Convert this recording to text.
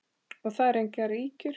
Og það eru engar ýkjur.